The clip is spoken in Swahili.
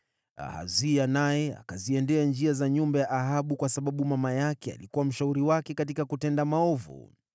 Ahazia naye akaenenda katika njia za nyumba ya Ahabu, kwa sababu mama yake alimshawishi katika kutenda maovu.